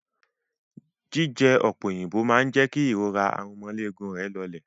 Jíjẹ ọ̀pẹ òyìnbó máa jẹ́ kí ìrora aromọléegun rẹ̀ lọlẹ̀.